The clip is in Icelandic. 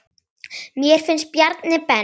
Mér finnst Bjarni Ben.